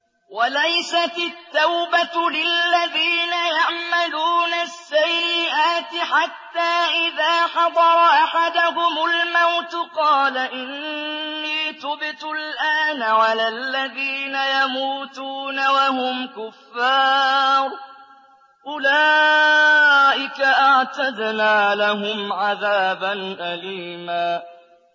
وَلَيْسَتِ التَّوْبَةُ لِلَّذِينَ يَعْمَلُونَ السَّيِّئَاتِ حَتَّىٰ إِذَا حَضَرَ أَحَدَهُمُ الْمَوْتُ قَالَ إِنِّي تُبْتُ الْآنَ وَلَا الَّذِينَ يَمُوتُونَ وَهُمْ كُفَّارٌ ۚ أُولَٰئِكَ أَعْتَدْنَا لَهُمْ عَذَابًا أَلِيمًا